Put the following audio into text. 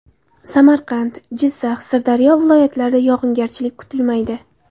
Samarqand, Jizzax, Sirdaryo viloyatlarida yog‘ingarchilik kutilmaydi.